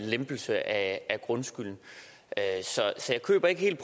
lempelse af grundskylden så jeg køber ikke helt